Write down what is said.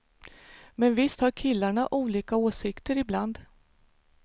Men visst har killarna olika åsikter ibland.